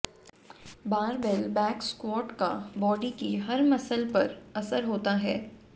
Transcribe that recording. barbell back squat का body की हर मसल्स पर असर होता है